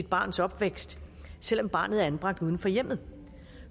barns opvækst selv om barnet er anbragt uden for hjemmet